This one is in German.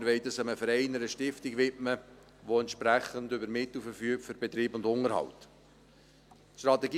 Wir wollen das einem Verein, einer Stiftung widmen, die über entsprechende Mittel für den Betrieb und den Unterhalt verfügt.